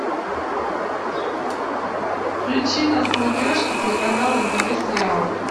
включи на смотрешке телеканал нтв сериал